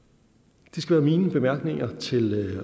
det skal være mine bemærkninger til